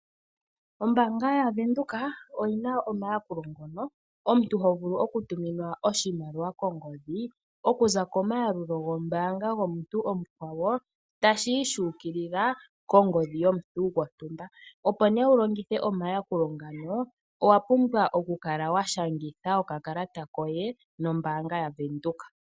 Ombaanga yaVenduka oyina omayakulo ngoka omuntu tovulu okutuminwa oshimaliwa kongodhi okuza komayalulo gombaanga tashi yi shu ukilila kongodhi yomuntu gontumba. Opo nee wulongithe omayakulo ngano owa pumbwa okukala washangitha okakalata koye nombaanga yaVenduka.